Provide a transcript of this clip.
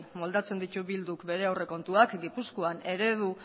moldatzen ditu bilduk bere aurrekontuak gipuzkoan eredu